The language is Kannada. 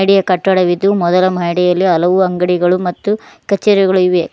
ಮಹಡಿಯ ಕಟ್ಟಡವಿದ್ದು ಮೊದಲ ಮಹಡಿಯಲ್ಲಿ ಹಲವು ಅಂಗಡಿಗಳು ಮತ್ತು ಕಚೇರಿಗಳು ಇವೆ.